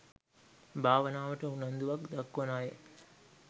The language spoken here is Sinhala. භාවනාවට උනන්දුවක් දක්වන අය